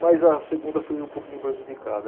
Mas a segunda foi um pouquinho prejudicada.